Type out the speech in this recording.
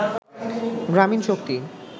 গ্রামীন শক্তি